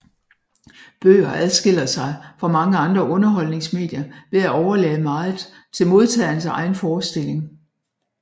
Bøger adskiller sig fra mange andre underholdningsmedier ved at overlade meget til modtagerens egen forestilling